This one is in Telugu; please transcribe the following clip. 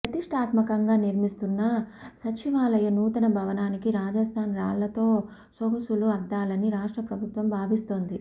ప్రతిష్ఠాత్మకంగా నిర్మిస్తున్న సచివాలయ నూతన భవనానికి రాజస్థాన్ రాళ్లతో సొగసులు అద్దాలని రాష్ట్ర ప్రభుత్వం భావిస్తోంది